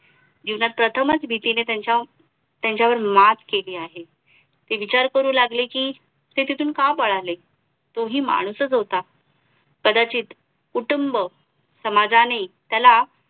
जीवनात प्रथमच भीतीने त्यांच्यावर मात केली आहे ते विचार करू लागले कि ते तिथून का पळाले तो हि माणूसच होता कदाचित कुटुंब समाजानी त्याला